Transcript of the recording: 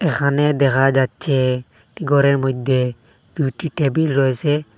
এখানে দেখা যাচ্চে ঘরের মইদ্যে দুইটি টেবিল রয়েসে।